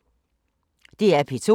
DR P2